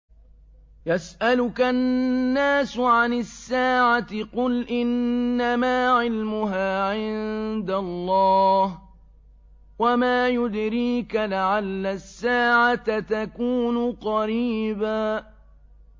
يَسْأَلُكَ النَّاسُ عَنِ السَّاعَةِ ۖ قُلْ إِنَّمَا عِلْمُهَا عِندَ اللَّهِ ۚ وَمَا يُدْرِيكَ لَعَلَّ السَّاعَةَ تَكُونُ قَرِيبًا